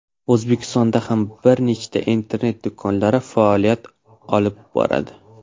O‘zbekistonda ham bir nechta internet do‘konlari faoliyat olib boradi.